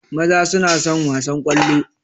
Maza suna son wasan ƙwallo